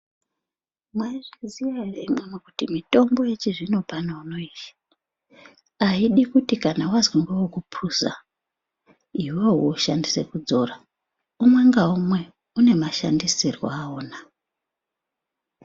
Mwaizviziya ere imwimwi kuti mitombo yechizvino pano uno yeshe aidi kuti kana wazwi ngewekupuza iwewe woshandisa kudzora umwe naumwe unemashandisirwo awona.